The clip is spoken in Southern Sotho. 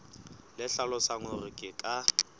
le hlalosang hore ke ka